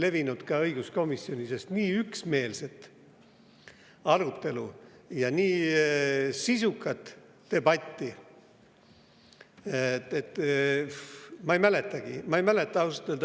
Kui aus olla, siis nii üksmeelset arutelu ja nii sisukat debatti õiguskomisjonis ma ei mäletagi.